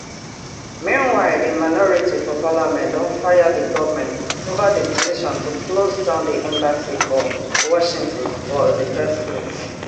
meanwhile di minority for parliament don fire di goment ova di decision to closedown di embassy for washington for di first place